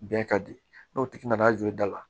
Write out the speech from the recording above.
Bɛn ka di n'o tigi nana jɔ i da la